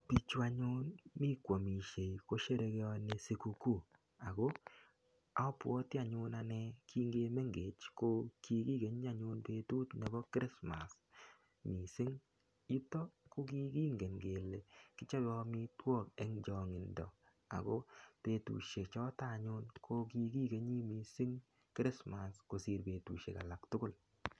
Pichu anyun mi kwamisiei ko sherekeoni sukukuu ago abwoti anyun kingimengech ko kikikeni anyun betut nebo Christmas mising. Yutok kokingen kele kichope amitwok eng chongindo ago betusie choto anyun ko kikikeni mising Kirismas kosir betusiek tugul.